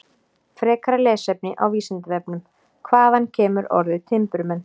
Frekara lesefni á Vísindavefnum: Hvaðan kemur orðið timburmenn?